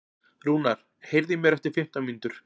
Rúnar, heyrðu í mér eftir fimmtán mínútur.